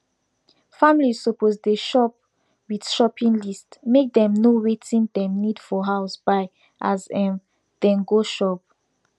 families suppose dey shop with shopping list make dem know wertting dem need for house buy as em dey go store